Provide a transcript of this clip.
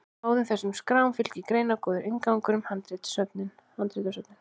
báðum þessum skrám fylgir greinargóður inngangur um handritasöfnin